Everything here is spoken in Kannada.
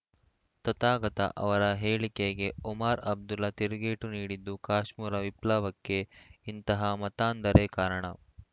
ತಥಾಗತ ಅವರ ಹೇಳಿಕೆಗೆ ಒಮರ್‌ ಅಬ್ದುಲ್ಲಾ ತಿರುಗೇಟು ನೀಡಿದ್ದು ಕಾಶಮುರಾ ವಿಪ್ಲವಕ್ಕೆ ಇಂತಹ ಮತಾಂಧರೇ ಕಾರಣ